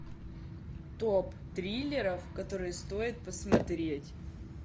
топ триллеров которые стоит посмотреть